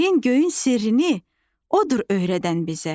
yerin, göyün sirrini odur öyrədən bizə.